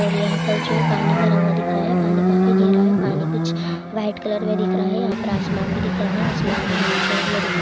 और यहाँ पर जो है पानी भरा हुआ दिख रहा है पानी काफि गेहरा है पानी कुछ व्हाइट कलर मे दिख रहा है यहाँ पर आसमान भी दिख रहा है आसमान भी व्हाइट कलर मे दिख रहा--